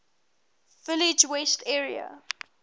village west area